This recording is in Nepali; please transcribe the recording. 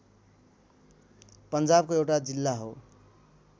पन्जाबको एउटा जिल्ला हो